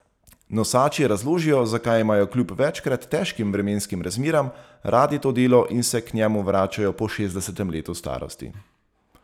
Nosači razložijo, zakaj imajo kljub večkrat težkim vremenskim razmeram radi to delo in se k njemu vračajo po šestdesetem letu starosti.